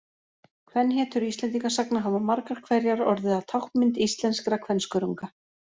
Kvenhetjur Íslendingasagna hafa margar hverjar orðið að táknmynd íslenskra kvenskörunga.